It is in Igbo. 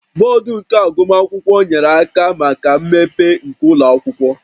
Board nke agụmakwụkwọ nyere aka na mmepe nke ụlọ akwụkwọ